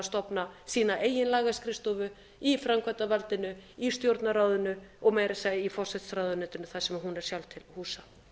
að stofna sína eigin lagaskrifstofu í framkvæmdarvaldinu í stjórnarráðinu og meira að segja í forsætisráðuneytinu þar sem hún er sjálf til